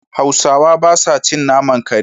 Hausawa ba sa cin naman kare.